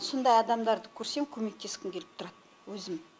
сондай адамдарды көрсем көмектескім келіп тұрады өзім